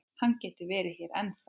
Hann getur verið hérna ennþá.